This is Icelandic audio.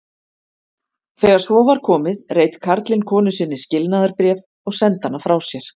Þegar svo var komið reit karlinn konu sinni skilnaðarbréf og sendi hana frá sér.